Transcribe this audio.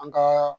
An ka